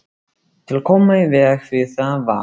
Til að koma í veg fyrir það var